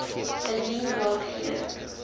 indien daar geen